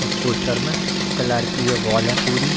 इस पोस्टर में कलर किये वॉल है पूरी।